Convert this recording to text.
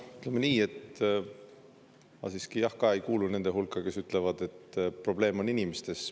Ütleme nii, et ma siiski ei kuulu nende hulka, kes ütlevad, et probleem on inimestes.